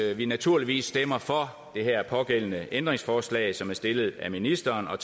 at vi naturligvis stemmer for det her pågældende ændringsforslag som er stillet af ministeren og